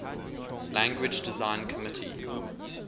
language design committee